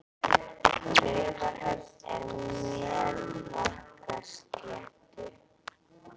Raufarhöfn er á Melrakkasléttu.